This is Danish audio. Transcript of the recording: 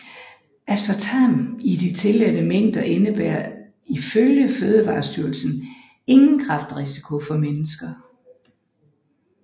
Aspartam i de tilladte mængder indebærer ifølge Fødevarestyrelsen ingen kræftrisiko for mennesker